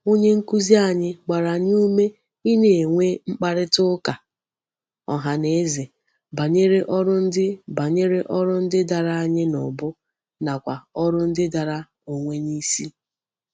Onye nkuzi anyi gbara anyi ume I na-enwe mkparita uka ohaneze banyere órú ndi banyere órú ndi dara anyi n'ubu nakwa órú ndi dara onwe nisi.